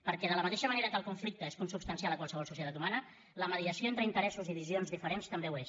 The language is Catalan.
perquè de la mateixa manera que el conflicte és consubstancial a qualsevol societat humana la mediació entre interessos i visions diferents també ho és